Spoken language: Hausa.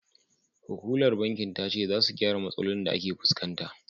Hukumar bankin ta ce, za su gyara matsalolin da ake fuskanta.